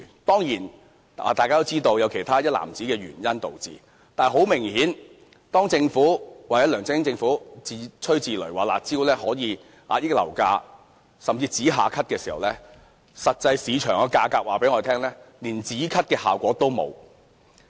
當然，大家都知道有其他一籃子的原因導致，但是，很明顯，當政府或梁振英政府自吹自擂說"辣招"可遏抑樓價，甚至可以"止咳"時，實際上，市場的價格告訴大家，連"止咳"的效果也欠奉。